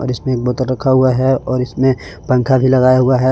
जिसमें एक बोतल रखा हुआ है और इसमें पंखा भी लगाया हुआ है।